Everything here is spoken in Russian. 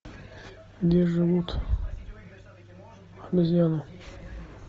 где живут обезьяны